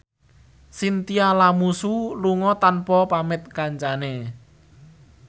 Chintya Lamusu lunga tanpa pamit kancane